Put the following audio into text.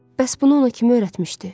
Bəs bunu ona kim öyrətmişdi?